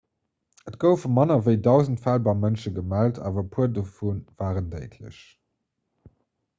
et goufe manner ewéi dausend fäll beim mënsch gemellt awer e puer dovu waren déidlech